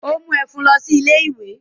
Ó mú ẹ̀fún lọ ilé-ìwé?